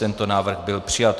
Tento návrh byl přijat.